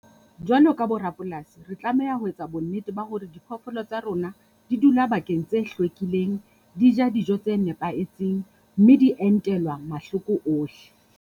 Jwalo ka bo rapolasi, re tlameha ho etsa bonnete ba hore diphoofolo tsa rona di dula bakeng tse hlwekileng. Di ja dijo tse nepahetseng mme di entelwa mahloko ohle.